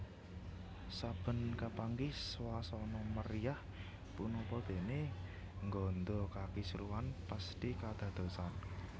Saben kapanggih swasana meriah punapa dene ngganda kakisruhan pesthi kadadosan